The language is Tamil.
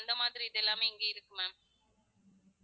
அந்த மாதிரி இது எல்லாமே இங்கே இருக்கு ma'am